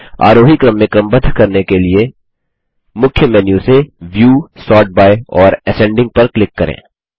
आरोही क्रम में क्रमबद्ध करने के लिए मुख्य मेन्यू से व्यू सोर्ट बाय और असेंडिंग पर क्लिक करें